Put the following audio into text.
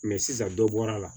sisan dɔ bɔra la